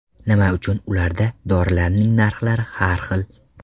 Nima uchun ularda dorilarning narxlari har xil?